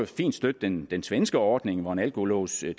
fint støtte den svenske ordning hvor en alkolås i